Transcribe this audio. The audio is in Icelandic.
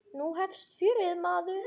Nú hefst fjörið, maður.